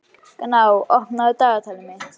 Gná, opnaðu dagatalið mitt.